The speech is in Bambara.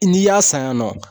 N'i y'a san yan nɔ